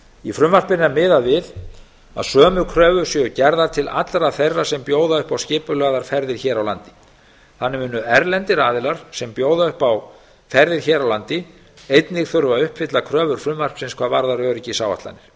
í frumvarpinu er miðað við að sömu kröfur séu gerðar til allra þeirra sem bjóða upp á skipulagðar ferðir hér á landi þannig munu erlendir aðilar sem bjóða upp á ferðir hér á landi einnig þurfa að uppfylla kröfur frumvarpsins hvað varðar